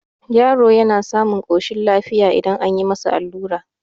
yaro yana samun koshin lafiya idan an yi masa allura